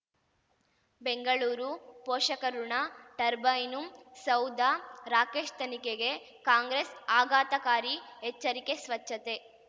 ಬೆಂಗಳೂರು ಪೋಷಕಋಣ ಟರ್ಬೈನು ಸೌಧ ರಾಕೇಶ್ ತನಿಖೆಗೆ ಕಾಂಗ್ರೆಸ್ ಆಘಾತಕಾರಿ ಎಚ್ಚರಿಕೆ ಸ್ವಚ್ಛತೆ